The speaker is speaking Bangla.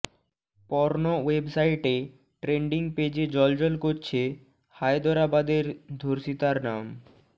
পর্ন ওয়েবসাইটের ট্রেন্ডিং পেজে জ্বলজ্বল করছে হায়দরাবাদের ধর্ষিতার নাম